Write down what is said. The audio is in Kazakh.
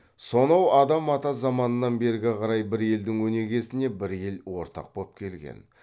сонау адам ата заманынан бергі қарай бір елдің өнегесіне бір ел ортақ боп келген